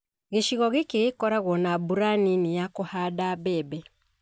Gĩcigo gĩkĩ gĩkoragwo na mbura nini ya kũhanda mbembe.